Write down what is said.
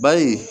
Bari